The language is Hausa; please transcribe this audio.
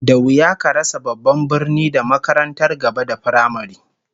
Da wuya ka rasa babban birni da makarantar gaba da firamare